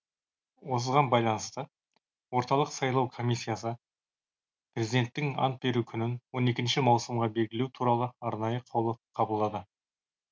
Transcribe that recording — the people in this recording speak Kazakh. осыған байланысты орталық сайлау комиссиясы президенттің ант беру күнін он екінші маусымға белгілеу туралы арнайы қаулы қабылдады